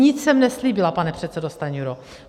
Nic jsem neslíbila, pane předsedo Stanjuro.